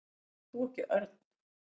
Ert þú ekki Örn?